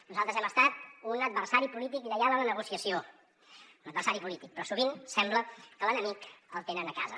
nosaltres hem estat un adversari polític lleial en la negociació un adversari polític però sovint sembla que l’enemic el tenen a casa